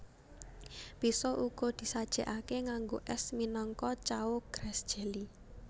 Bisa uga disajèkaké nganggo ès minangka cao grass jelly